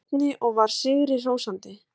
Erni og var sigri hrósandi.